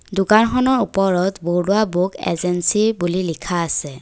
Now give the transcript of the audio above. দোকানখনৰ ওপৰত Barua book agency বুলি লিখা আছে।